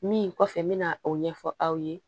Min kɔfɛ n mɛna o ɲɛfɔ aw ye